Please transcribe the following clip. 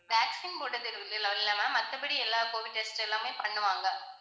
vaccine போடுறது எல்லாம் இல்~ இல்ல ma'am மத்தபடி எல்லா covid test எல்லாமே பண்ணுவாங்க.